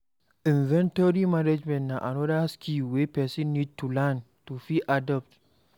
Inventory management na anoda skill wey person need to learn to fit adapt